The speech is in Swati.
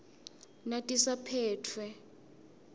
natisaphetfwe